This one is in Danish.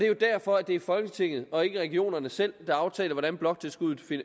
jo derfor at det er folketinget og ikke regionerne selv der aftaler hvordan bloktilskuddet